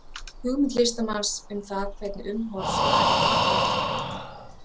hugmynd listamanns um það hvernig umhorfs var í babýlon til forna